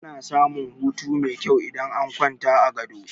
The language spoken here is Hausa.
Ana samun hutu mai kyau idan an kwanta a gado.